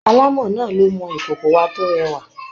Alámọ̀ náà ló mọ ìkòkòwa tó rẹwà.